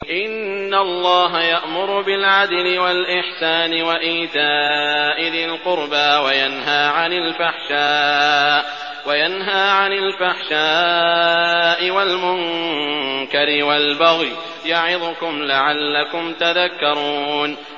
۞ إِنَّ اللَّهَ يَأْمُرُ بِالْعَدْلِ وَالْإِحْسَانِ وَإِيتَاءِ ذِي الْقُرْبَىٰ وَيَنْهَىٰ عَنِ الْفَحْشَاءِ وَالْمُنكَرِ وَالْبَغْيِ ۚ يَعِظُكُمْ لَعَلَّكُمْ تَذَكَّرُونَ